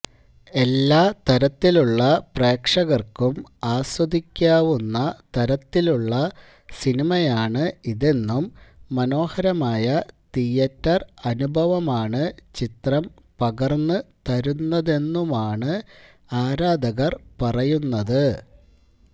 എല്ലാതരത്തിലുള്ള പ്രേക്ഷകര്ക്കും ആസ്വദിക്കാവുന്ന തരത്തിലുള്ള സിനിമയാണ് ഇതെന്നും മനോഹരമായ തിയേറ്റര് അനുഭവമാണ് ചിത്രം പകര്ന്ന് തരുന്നതെന്നുമാണ് ആരാധകര് പറയുന്നത്